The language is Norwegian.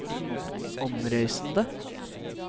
omreisende